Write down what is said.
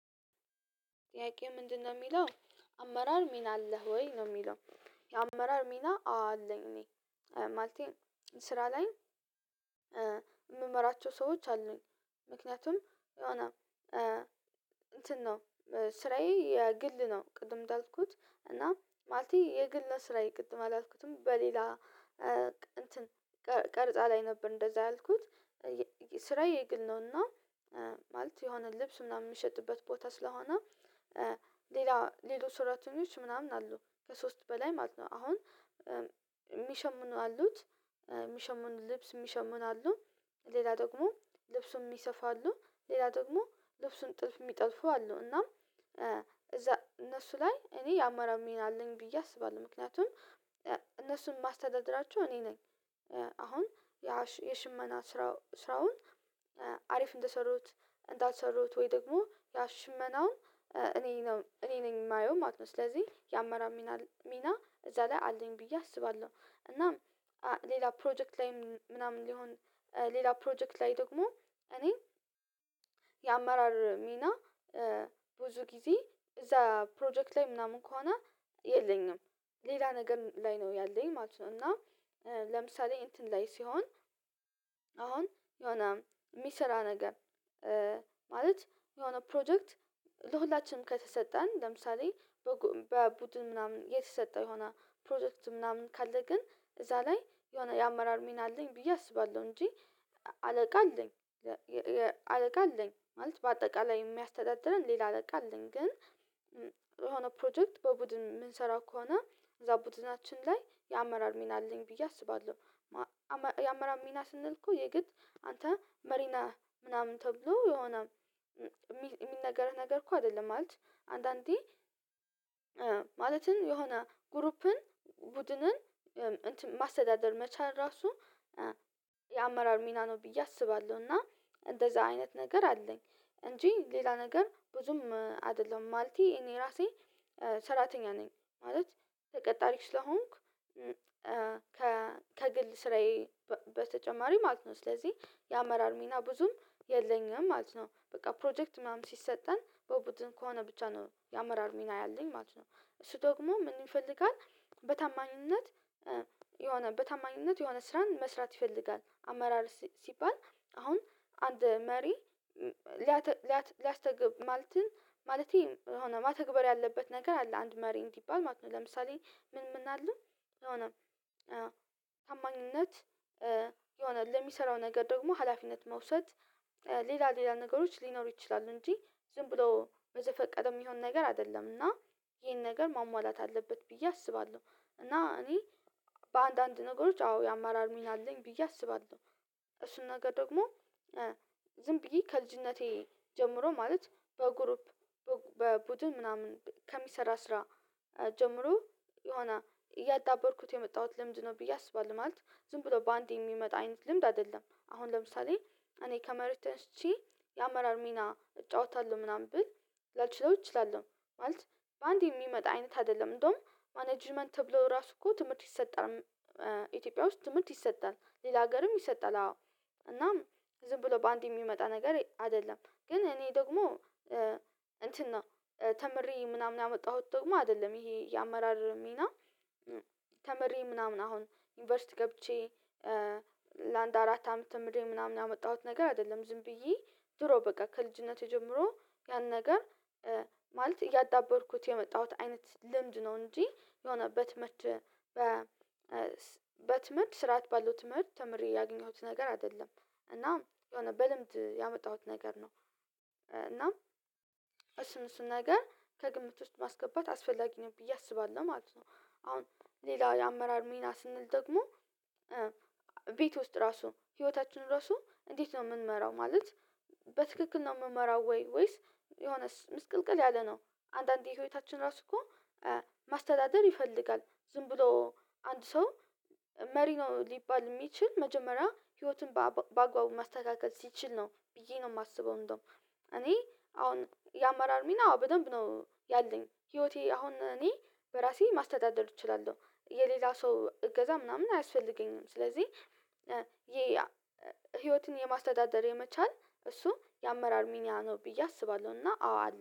ጥያቄ ምንድነው የሚለው አመራር ሚና አለህ ወይ ነው የሚለው? አመራር ሚና አዎ አለኝ ማለቴ ስራ ላይ የምመራቸው ሰዎች አሉኝ። ምክንያቱም የሆነ እንትን ነው ስራዬ የግል ነው ቅድም እንዳልኩት እና ማለቴ የግል ነው ስራይ ቅድም አላስኩትም በሌላ እንትን ቀርጻ ላይ ነበር እንደዛ ያልኩት ስራዬ የግል ነውና። ማለት የሆነ ልብስ ምናምን የሚሸጥበት ቦታ ስለሆነ ሌላ ሌሎች ስራተኞች ምናምን አሉ ከሶስት በላይ ማለት ነው አሁን የሚሸምኑ አሉት። የሚሸምኑ ልብስ የሚሸምኑ አሉ ሌላ ደግሞ ልብሱን የሚሰፉ አሉ ሌላ ደግሞ ልብሱን ጥልፍ የሚጠልፉ አሉ እና እዛ እነሱ ላይ እኔ የአማራር ሚን አለኝ ብዬ አስባለሁ። ምክንያቱም እነሱን ማስተዳደራቸው እኔ ነኝ አሁን የሽመና ስራው ስራውን አሪፍ እንደሰሩት እንዳልሰሩት ወይ ደግሞ ያ ሽመናውን እኔ ነኝ እኔ ነኝ የማየው ማለት ነው ስለዚህ የአመራር ሚና እዛ ላይ አለኝ ብዬ አስባለሁ። እናም ሌላ ፕሮጀክት ላይም ምናምን ሊሆን ሌላ ፕሮጀክት ላይ ደግሞ እኔ የአመራር ሚና ብዙ ጊዜ እዛ ፕሮጀክት ላይ ምናምን ከሆነ የለኝም ሌላ ነገር ላይ ነው ያለኝ ማለት ነው። እና ለምሳሌ እንትን ላይ ሲሆን አሁን የሆነ የሚሰራ ነገር ማለት የሆነ ፕሮጀክት ለሁላችንም ከተሰጠን ለምሳሌ በቡድን ምናምን የተሰጠው የሆነ ፕሮጀክት ምናምን ካለ ግን እዛ ላይ የሆነ የአመራር ሚና አለኝ ብዬ አስባለሁ እንጂ አለቃ አለኝ። አለቃ አለኝ ማለት በአጠቃላይ የሚያስተዳድረን ሌላ አለቃ አለኝ ግን የሆነ ፕሮጀክት በቡድን የምንሰራው ከሆነ እዛ ቡድናችን ላይ የአመራር ሚና አለኝ ብዬ አስባለሁ። የአመራር ሚና ስንል እኮ የግድ አንተ መሪ ነህ ምናምን ተብሎ የሆነ የሚነገርህ ነገር እኮ አይደለም ማለት አንዳንዴ ማለትም የሆነ ግሩፕን ቡድንን ማስተዳደር መቻል ራሱ የአመራር ሚና ነው። ብዬ አስባለሁ እና እንደዛ አይነት ነገር አለኝ እንጂ ሌላ ነገር ብዙም አይደለዉም ማለቴ እኔ ራሴ ሰራተኛ ነኝ ማለት ተቀጣሪ ስለሆንኩ ከግል ስራዬ በተጨማሪ ማለት ነው ስለዚህ የአመራር ሚና ብዙም የለኝም ማለት ነው። በቃ ፕሮጀክት ምናምን ሲሰጠን በቡድን ከሆነ ብቻ ነው ያመራር ሚና ያለኝ ማለት ነው እሱ ደግሞ ምን ይፈልጋል በታማኝነት የሆነ በታማኝነት የሆነ ስራን መስራት ይፈልጋል አመራር ሲባል አሁን አንድ መሪ ሊያተ ሊያስተግብ ማለት ማለቴ የሆነ መተግበር ያለበት ነገር አለ አንድ መሪ እንዲባል ማለት ነው። ለምሳሌ ምን ምን አለ የሆነ ታማኝነት የሆነ ለሚሰራው ነገር ደግሞ ሀላፊነት መውሰድ ሌላ ሌላ ነገሮች ሊኖሩ ይችላሉ እንጂ ዝም ብሎ በዘፈቀድ የሚሆን ነገር አይደለም እና ይሄን ነገር ማሟላት አለበት ብዬ አስባለሁ። እና እኔ በአንዳንድ ነገሮች አዎ የአማራር ሚና አለኝ ብዬ አስባለሁ እሱን ነገር ደግሞ ዝም ብዬ ከልጅነቴ ጀምሮ ማለት በግሩፕ በቡድን ምናምን ከሚሰራ ስራ ጀምሮ የሆነ እያዳበርኩት የመጣሁት ልምድ ነው ብዬ አስባለሁ። ማለት ዝም ብሎ በአንዴ የሚመጣ አይነት ልምድ አይደለም አሁን ለምሳሌ እኔ ከመሬት ተንስቼ የአመራር ሚና እጫወታለሁ ምናምን ብል ላልችለው እችላለሁ ማለት በአንድ የሚመጣ አይነት አይደለም እንደውም ማኔጅመንት ተብሎ ራሱ እኮ ትምህርት ይሰጣል። ኢትዮጵያ ውስጥ ትምህርት ይሰጣል ሌላ ሀገርም ይሰጣል አዎ እናም ዝም ብሎ በአንድ የሚመጣ ነገር አይደለም ግን እኔ ደግሞ እንትን ነው ተምሬ ምናምን ያመጣሁት ደግሞ አይደለም ይሄ የአመራር ሚና ተምሬ ምናምን አሁን ዩኒቨርሲቲ ገብቼ ለአንድ አራት አመት ተምሬ ምናምን ያመጣሁት ነገር አይደለም። ዝም ብዬ ድሮ በቃ ከልጅነቴ ጀምሮ ያን ነገር ማለት እያዳበርኩት የመጣሁት አይነት ልምድ ነው እንጂ የሆነ በትምህርት በ በትምህርት ስርዓት ባለው ትምህርት ተምሬ ያገኘሁት ነገር አይደለም። እና የሆነ በልምድ ያመጣሁት ነገር ነው እና እሱን እሱን ነገር ከግምት ውስጥ ማስገባት አስፈላጊ ነው ብዬ አስባለሁ ማለት ነው። አሁን ሌላ የአመራር ሚና ስንል ደግሞ ቤት ውስጥ ራሱ ህይወታችን ራሱ እንዴት ነው የምንመራው ማለት በትክክል ነው የምንመራው ወይ ወይስ የሆነስ ምስቅልቅል ያለ ነው? አንዳንዴ ህይወታችን ራሱ እኮ ማስተዳደር ይፈልጋል ዝም ብሎ አንድ ሰው መሪ ነው ሊባል የሚችል መጀመሪያ ህይወቱን በአግባቡ ማስተካከል ሲችል ነው ብዬ ነው የማስበው። እንደውም እኔ አሁን የአማራር ሚና አዎ በደንብ ነው ያለኝ ህይወቴ አሁን እኔ በራሴ ማስተዳደር እችላለሁ የሌላ ሰው እገዛ ምናምን አያስፈልገኝም ስለዚህ ይሄ ህይወትን የማስተዳደር የመቻል እሱ የአመራር ሚና ነው ብዬ አስባለሁ። እና አዎ